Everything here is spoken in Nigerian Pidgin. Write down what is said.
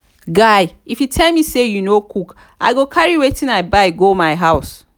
guy if you tell me say you no cook i go carry wetin i buy go my house